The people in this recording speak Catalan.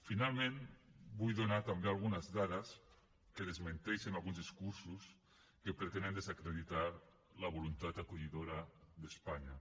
finalment vull donar també algunes dades que desmenteixen alguns discursos que pretenen desacreditar la voluntat acollidora d’espanya